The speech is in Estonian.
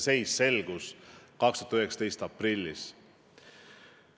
See seis selgus tänavu aprillis.